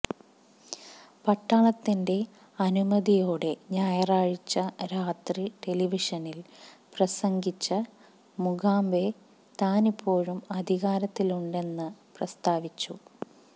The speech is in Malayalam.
പട്ടാളത്തിന്റെ അനുമതിയോടെ ഞായറാഴ്ച രാത്രി ടെലിവിഷനില് പ്രസംഗിച്ച മുഗാബെ താനിപ്പോഴും അധികാരത്തിലുണ്ടെന്ന് പ്രസ്താവിച്ചു